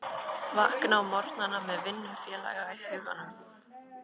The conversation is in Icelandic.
Vakna á morgnana með vinnufélaga í huganum.